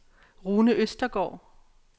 Rune Østergaard